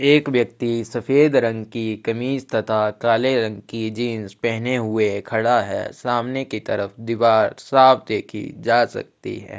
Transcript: एक व्यक्ति सफेद रंग की कमीज तथा काले रंग की जीन्स पहने हुए खड़ा है सामने की तरफ दिवार साफ देखी जा सकती है।